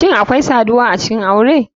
Shine akwai saduwa acikin aure?